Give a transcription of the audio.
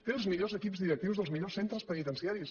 té els millors equips directius dels millors centres penitenciaris